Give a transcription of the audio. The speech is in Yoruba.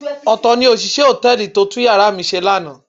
Ọ̀tọ̀ ni òṣìṣẹ́ hòtẹ́ẹ̀lì tó tún yàrá mi ṣe lánàá.